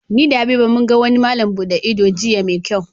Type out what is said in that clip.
Ni da Habiba mun gan wani malam buɗe ido jiya mai kyau